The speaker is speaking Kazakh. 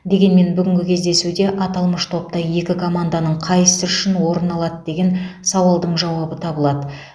дегенмен бүгінгі кездесуде аталмыш топта екі команданың қайсысы үшінші орын алады деген сауалдың жауабы табылады